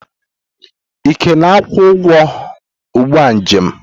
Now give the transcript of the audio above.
Ike na-akwụ ụgwọ ụgbọ njem m.